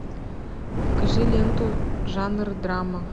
покажи ленту жанр драма